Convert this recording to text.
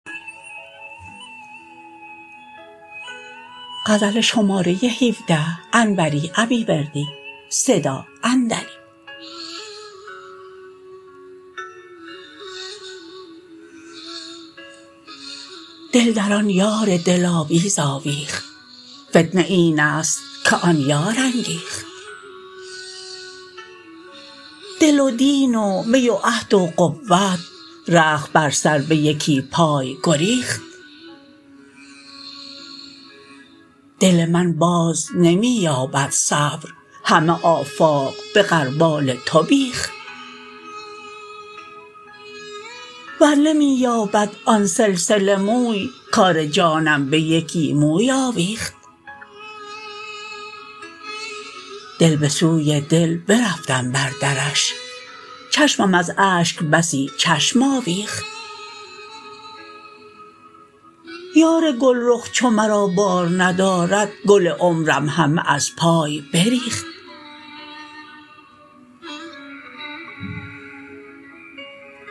دل در آن یار دلاویز آویخت فتنه اینست که آن یار انگیخت دل و دین و می و عهد و قوت رخت بر سر به یکی پای گریخت دل من باز نمی یابد صبر همه آفاق به غربال تو بیخت ور نمی یابد آن سلسله موی کار جانم به یکی موی آویخت دل به سوی دل برفتم بر درش چشمم از اشک بسی چشم آویخت یار گلرخ چو مرا بار ندارد گل عمرم همه از پای بریخت